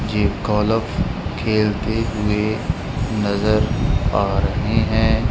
ये गोल्फ खेलते हुए नजर आ रहे हैं।